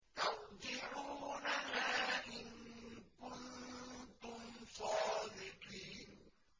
تَرْجِعُونَهَا إِن كُنتُمْ صَادِقِينَ